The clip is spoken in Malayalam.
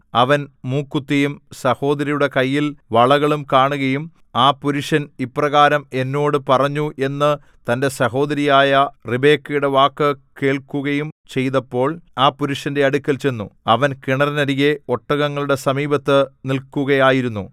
അവൻ മൂക്കുത്തിയും സഹോദരിയുടെ കൈയ്യിൽ വളകളും കാണുകയും ആ പുരുഷൻ ഇപ്രകാരം എന്നോട് പറഞ്ഞു എന്ന് തന്റെ സഹോദരിയായ റിബെക്കയുടെ വാക്കു കേൾക്കുകയും ചെയ്തപ്പോൾ ആ പുരുഷന്റെ അടുക്കൽ ചെന്നു അവൻ കിണറിനരികെ ഒട്ടകങ്ങളുടെ സമീപത്ത് നിൽക്കുകയായിരുന്നു